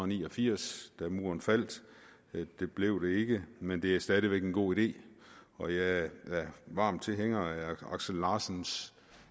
ni og firs da muren faldt det blev det ikke men det er stadig væk en god idé og jeg er varm tilhænger af aksel larsens